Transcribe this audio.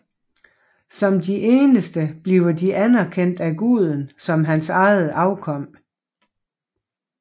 Som de eneste bliver de anerkendt af guden som hans eget afkom